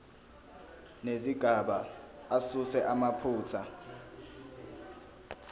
nezigaba asuse amaphutha